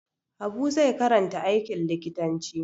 Habu zai karanta aikin likitanci.